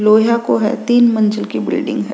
लोहया को है तीन मंज़िल की बिल्डिंग है।